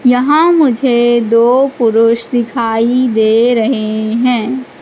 यहां मुझे दो पुरुष दिखाई दे रहे हैं।